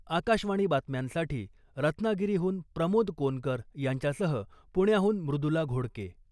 आकाशवाणी बातम्यांसाठी रत्नागिरीहून प्रमोद कोनकर यांच्यासह पुण्याहून मृदुला घोडके .